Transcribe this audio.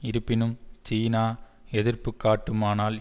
இருப்பினும் சீனா எதிர்ப்பு காட்டுமானால்